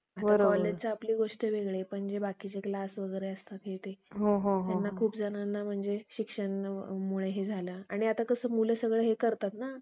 आता कॉलेजच्या आपली गोष्ट वेगळी पण जे बाकीचे क्लास वगैरे असतात हे ते त्यांना खूप जणांना म्हणजे शिक्षणामुळे हे झालं आणि आता कसं मुलं सगळं हे करतात ना